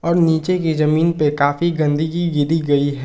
नीचे की जमीन पे काफी गंदगी गिरी गई है।